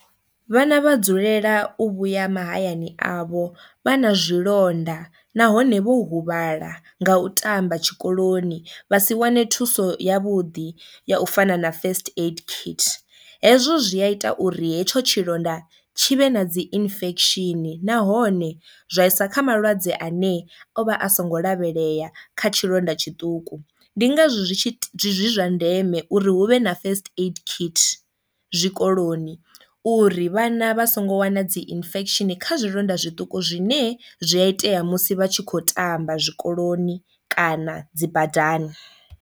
Vhana vha dzulela u vhuya mahayani avho vha na zwilonda nahone vho huvhala nga u tamba tshikoloni vha si wane thuso ya vhuḓi ya u fana na first aid kit, hezwo zwia ita uri hetsho tshilonda tshi vhe na dzi infection nahone zwa isa kha malwadze ane o vha a songo lavhelea kha tshilonda tshiṱuku. Ndi ngazwo zwi tshi zwi zwa ndeme uri u hu vhe na first aid kit zwikoloni uri vhana vha songo wana dzi infection kha zwilonda zwiṱuku zwine zwi a itea musi vha tshi kho tamba zwikoloni kana dzi badani.